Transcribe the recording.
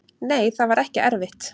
Nei, það var ekki erfitt.